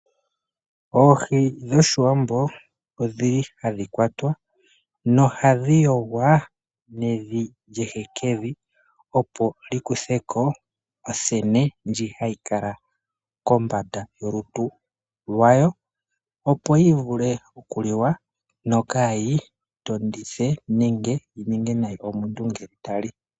Oohi dhoshiwambo odhili ha dhi kwatwa nohadhi yogwa nevi lyehekevi opo li kutheko othene ndjono hayi kala kolutu lwayo opo dhi vule okuliwa dho kaadhi tondithe omuntu ngele ta li.